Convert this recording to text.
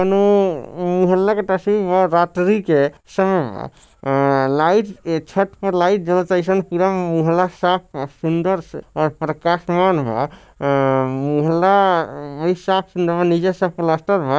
नो वो मोहल्ला के रात्रि के समय बा अ लाइट छत पे लाइट जलता अइसन पूरा मोहल्ला साफ व सुन्दर से और प्रकाशमान बा अ मोहल्ला नीचे से प्लास्टर बा।